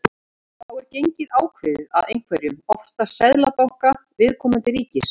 Þá er gengið ákveðið af einhverjum, oftast seðlabanka viðkomandi ríkis.